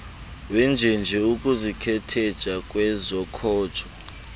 wenjenje ukuzikhetheja kwezokhojo